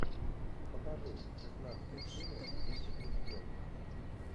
покажи шестнадцатая серия вице президент